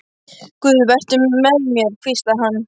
Guð, vertu með mér, hvíslaði hann.